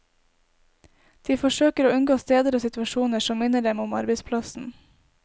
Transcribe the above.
De forsøker å unngå steder og situasjoner som minner dem om arbeidsplassen.